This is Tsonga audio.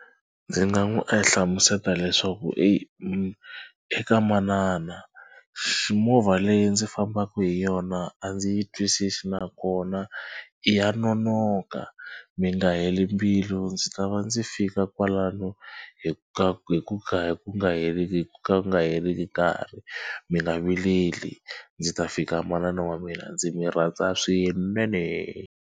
Ndzi nga n'wi e hlamusela leswaku e eka manana xi movha leyi ndzi fambaka hi yona a ndzi yi twisisi nakona ya nonoka mi nga heli mbilu ndzi ta va ndzi fika kwalano hi ku ka hi ku ka ku nga hi ku ka ku nga heriki nkarhi. Mi nga vileli ndzi ta fika manana wa mina ndzi mi rhandza swinene.